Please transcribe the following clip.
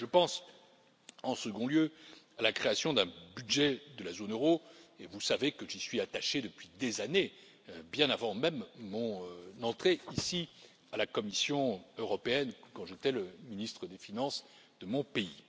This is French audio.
Je pense, en second lieu, à la création d'un budget de la zone euro, et vous savez que j'y suis attaché depuis des années, bien avant même mon entrée ici, à la Commission européenne, quand j'étais le ministre des finances de mon pays.